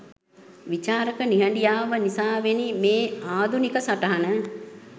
විචාරක නිහඬියාව නිසාවෙනි මේ ආධුනික සටහන